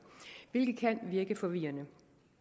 hvilket kan virke forvirrende